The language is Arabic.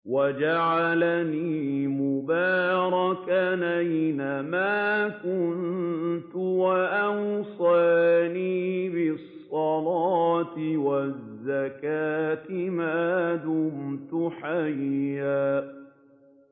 وَجَعَلَنِي مُبَارَكًا أَيْنَ مَا كُنتُ وَأَوْصَانِي بِالصَّلَاةِ وَالزَّكَاةِ مَا دُمْتُ حَيًّا